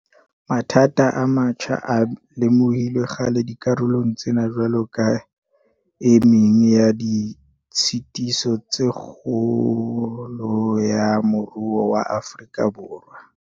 Mathata a metjha a lemohilwe kgale dikarolong tsena jwalo ka e meng ya ditshitiso tsa kgolo ya moruo wa Afrika Borwa.